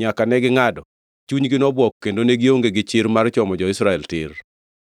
nyaka negingʼado, chunygi nobwok kendo ne gionge gi chir mar chomo jo-Israel tir.